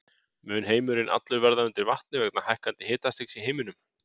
Mun heimurinn allur verða undir vatni vegna hækkandi hitastigs í heiminum?